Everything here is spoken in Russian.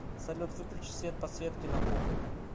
салют выключи свет подсветки на кухне